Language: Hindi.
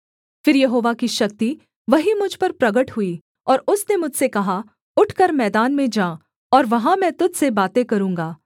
फिर यहोवा की शक्ति वहीं मुझ पर प्रगट हुई और उसने मुझसे कहा उठकर मैदान में जा और वहाँ मैं तुझ से बातें करूँगा